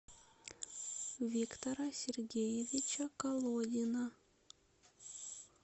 виктора сергеевича колодина